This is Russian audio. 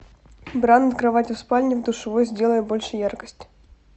бра над кроватью в спальне в душевой сделай больше яркость